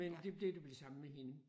Men det det blev det samme med hende